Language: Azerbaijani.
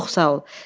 Çox sağ ol.